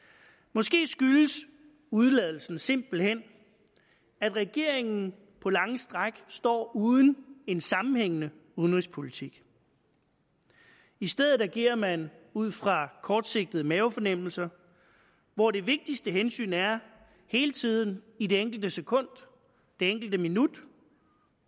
måske skyldes udeladelsen simpelt hen at regeringen på lange stræk står uden en sammenhængende udenrigspolitik i stedet agerer man ud fra kortsigtede mavefornemmelser hvor det vigtigste hensyn er hele tiden i det enkelte sekund det enkelte minut